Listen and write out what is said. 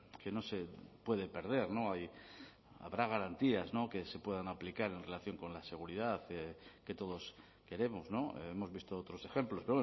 que no se puede perder habrá garantías que se puedan aplicar en relación con la seguridad que todos queremos hemos visto otros ejemplos